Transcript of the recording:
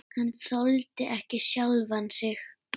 Hann þoldi ekki sjálfan sig.